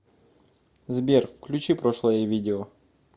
сбер включи прошлое видео